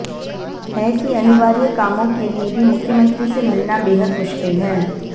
है कि अनिवार्य कामों के लिये भी मुख्यमंत्री से मिलना बेहद मुश्किल है